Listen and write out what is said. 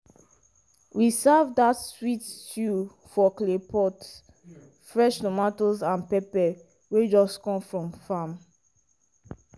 we serve dat sweet stew for clay pot fresh tomatoes and pepper wey just come from farm